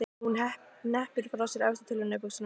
Hún hneppir frá sér efstu tölunni á buxunum.